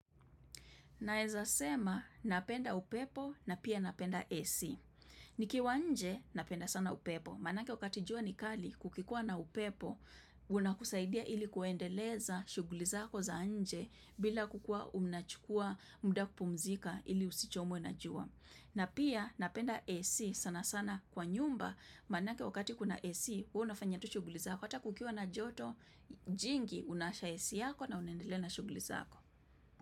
Naezasema napenda upepo na pia napenda AC. Nikiwa nje napenda sana upepo. Manake wakati jua nikali kukikua na upepo unakusaidia ili kuendeleza shughulizako za nje bila kukuwa unachukua muda kupumzika ili usichomwe na jua. Na pia napenda AC sana sana kwa nyumba manake wakati kuna AC huwa unafanya tu shugulizako hata kukiwa na joto jingi unaasha AC yako na unaendelea na shugulizako.